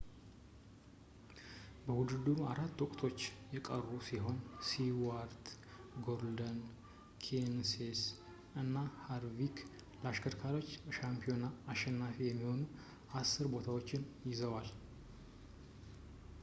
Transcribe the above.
በውድድሩ አራት ወቅቶችች የቀሩ ሲሆን ስቲዋርት ጎርደን ኬንሴዝ እና ሃርቪክ ለአሽከርካሪዎች ሻምፒዮና አሸናፊ የሚሆኑ አስር ቦታዎችን ይዘዋል